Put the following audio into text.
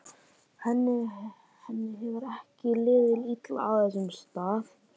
Henni hefur ekki liðið illa á þessum stað.